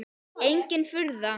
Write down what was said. Engin furða.